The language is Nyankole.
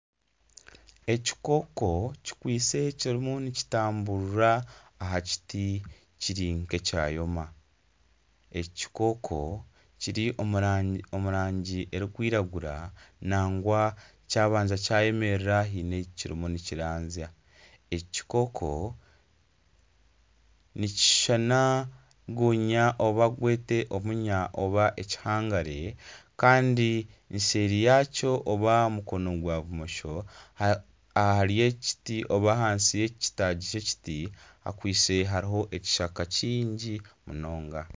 Ekikooko kikwitse kirimu nikitamburira aha kiti ekiri nk'ekyomire, eki kikooko kiri omu rangi erikwiragura nagwa kyabanza kyayemerera haine ahu kirimu nikirazya eki kikooko nikishushana gonya oba gwete omunya nari ekihangare kandi seeri yakyo nari mukono gwa bumosho ahansi y'ekitaagi ky'ekiti hakwitse hariho ekishaka kyingi munonga.